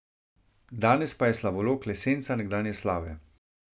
Danes pa je slavolok le senca nekdanje slave.